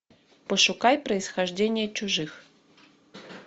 пошукай происхождение чужих